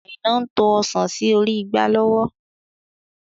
Aina ń to Ọ̀sán sì orí igbá lọ́wọ́.